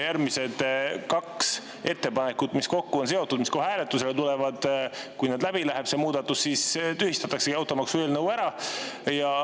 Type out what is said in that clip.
Järgmised kaks ettepanekut, mis on kokku seotud ja tulevad kohe hääletusele – kui see muudatus nüüd läbi läheb, siis tühistataksegi automaksueelnõu ära.